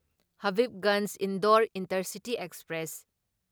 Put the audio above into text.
Habibganj Indore intercity express